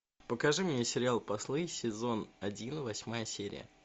покажи мне сериал послы сезон один восьмая серия